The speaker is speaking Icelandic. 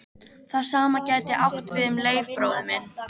Það sama gæti átt við um Leif bróður minn.